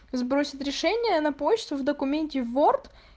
сбросить решение на почту в документе ворд